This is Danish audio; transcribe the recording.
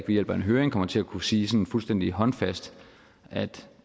ved hjælp af en høring kommer til at kunne sige sådan fuldstændig håndfast at